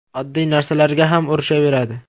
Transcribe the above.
Oddiy narsalarga ham urishaveradi.